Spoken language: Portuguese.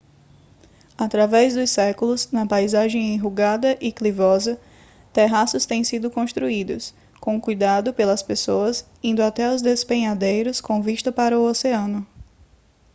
através dos séculos na paisagem enrugada e clivosa terraços têm sido construídos com cuidado pelas pessoas indo até os despenhadeiros com vista para o oceano